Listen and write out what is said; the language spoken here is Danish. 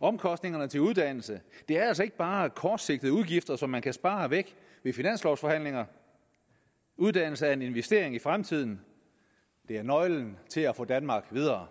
omkostningerne til uddannelse er altså ikke bare kortsigtede udgifter som man kan spare væk i finanslovforhandlinger uddannelse er en investering i fremtiden det er nøglen til at få danmark videre